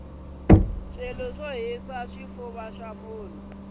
swo tshwa swi hisa xifufa xa munhu